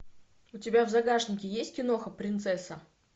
у тебя в загашнике есть киноха принцесса